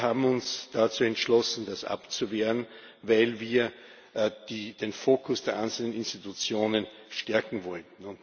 Wir haben uns dazu entschlossen, das abzuwehren, weil wir den Fokus der einzelnen Institutionen stärken wollten.